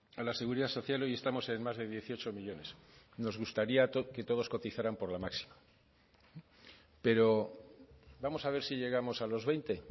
a la seguridad social hoy estamos en más de dieciocho millónes nos gustaría que todos cotizaran por la máxima pero vamos a ver si llegamos a los veinte